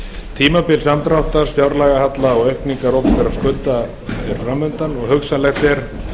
tímabil mikils samdráttar stóraukins fjárlagahalla og mikillar aukningar opinberra skulda er framundan hugsanlegt er